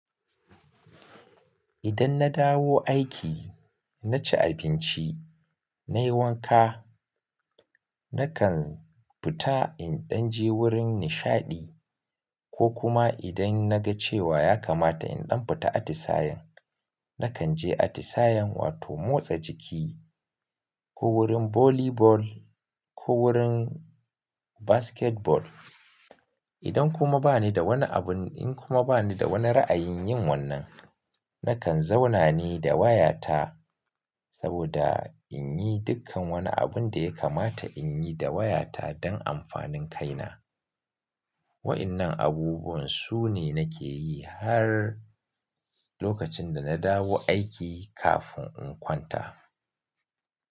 Idan na dawo aiki, na ci abinci, na yi wanka, na kan fita in ɗan je wurin nishaɗi, ko kuma idan na ga cewa ya kamata in ɗan fita atisayen, na kan je atisayen wato motsa jiki ko wurin volley ball, ko wurin basketball. Idan kuma ba ni da wani abun, in kuma ba ni da wani ra'ayin yin wannan, na kan zauna ne da wayata, saboda in yi dukkan wani abun da ya kamata in yi da wayata don amfanin kaina. Wa ƴannan abubuwan su ne nake yi har lokacin da na dawo aiki kafin in kwanta.